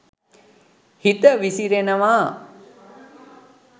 හිත විසිරෙනවා